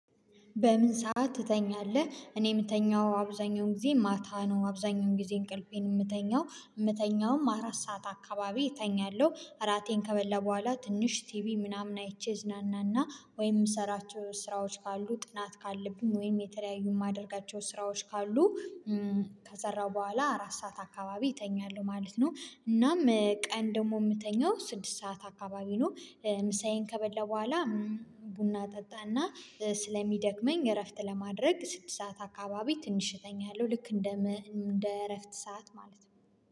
በምን ሰዓት ትተኛለህ? እኔ የምተኛው አብዛኛውን ጊዜ ማታ ነው አብዛኛውን ጊዜ እንቅልፌን የምተኛው የምተኛውም አራት ሰዓት አካባቢ እተኛለሁ እራቴን ከበላሁ በኋላ ትንሽ ቲቪ ምናምን አይቼ እዝናናና ወይም የምሰራቸው ስራዎች ካሉ ጥናት ካለብኝ ወይም የተለያዩ የማደርጋቸው ስራዎች ካሉ ከሰራሁ በኋላ አራት ሰዓት አካባቢ እተኛለሁ ማለት ነው። እናም ቀን ደግሞ የምተኛው ስድስት ሰዓት አካባቢ ነው። ምሳዬን ከበላ በኋላ ቡና ጠጣና ስለሚደክመኝ እረፍት ለማድረግ ስድስት ሰዓት አካባቢ ትንሽ እተኛለው ልክ እንደ እንደ እረፍት ሰዓት ማለት ነው